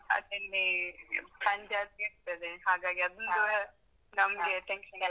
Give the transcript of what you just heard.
ಹಾಗಲ್ಲಿ ಸಂಜೆ ಆಗಿರ್ತದೆ ಹಾಗಾಗಿ ಅದೊಂದು ನಮ್ಗೆ tension .